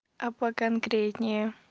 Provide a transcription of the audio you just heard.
а поконкретнее